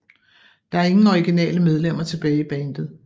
Der er ingen originale medlemmer tilbage i bandet